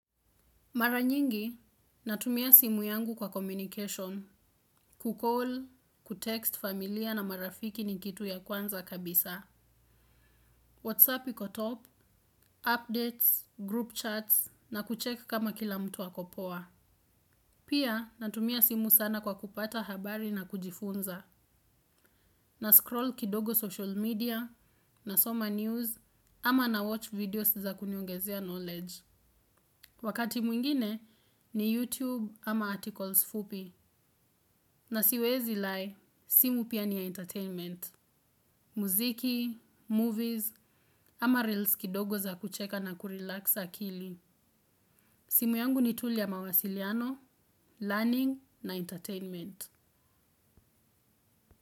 Mara nyingi, natumia simu yangu kwa communication, kucalll, kutext familia na marafiki ni kitu ya kwanza kabisa. Whatsapp iko top, updates, group chats, na kucheckkama kila mtu ako poa. Pia, natumia simu sana kwa kupata habari na kujifunza, na scroll kidogo social media, na soma news, ama na watch videos za kuniongezea knowledge. Wakati mwingine ni YouTube ama articles fupi na siwezi lie simu pia ni ya entertainment, muziki, movies ama reels kidogo za kucheka na kurelax akili. Simu yangu ni tu yq mawasiliano, learning na entertainment.